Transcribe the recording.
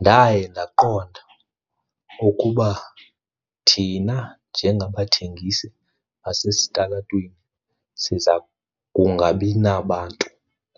Ndaye ndaqonda ukuba thina njengabathengisi basesitalatweni siza kungabi nabantu